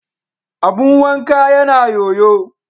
Abun wanka yana yoyo.